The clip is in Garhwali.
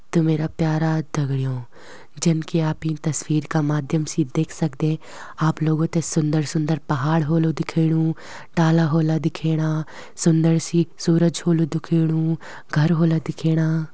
तो मेरा प्यारा दगड़ियों जन की आप इं तस्वीर क माध्यम से देख सकदे आप लोगो थें सुन्दर-सुन्दर पहाड़ ह्वोलु दिख्याणु डाला ह्वोला दिख्याणा सुन्दर सी सूरज ह्वोलु दिख्याणु घर ह्वोला दिख्येणा।